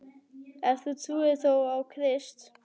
En þú trúir þó á Krist?